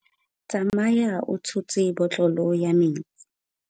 Tsamaya o tshotse botlolo ya metsi.